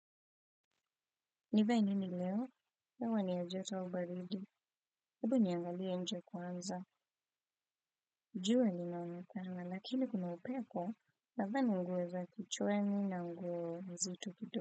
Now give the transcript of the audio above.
Nivae nini leo? Hewa ni ya joto au baridi? Hebu niangalie nje kwanza. Jua linaoneka lakini kuna upepo. Nadhani nguo za kichwani na nguo nzito kidogo.